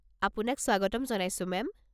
আপোনাক স্বাগতম জনাইছো মেম।